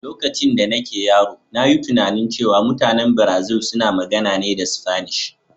Lokacin da nake yaro, na yi tunanin cewa mutanen Brazil suna magana ne da Sfanish.